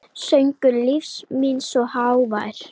Söngur lífs míns er hávær.